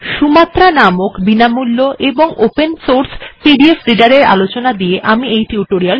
Sumatra এর ব্যবহার optional অর্থাৎ ঐচ্ছিক